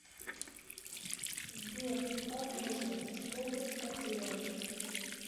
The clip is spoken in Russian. сбер о боже что бы поделать